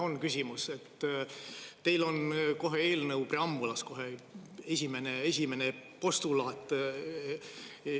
Jah, on küsimus, et teil on kohe eelnõu preambulas kohe esimene postulaat.